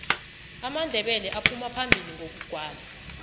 amandebele aphuma phambili ngokugwala